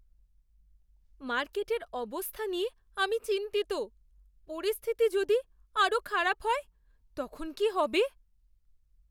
মার্কেটের অবস্থা নিয়ে আমি চিন্তিত। পরিস্থিতি যদি আরও খারাপ হয়, তখন কী হবে?